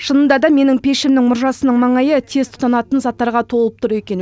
шынында да менің пешімнің мұржасының маңайы тез тұтанатын заттарға толып тұр екен